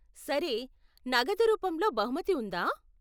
సరే, నగదు రూపంలో బహుమతి ఉందా ?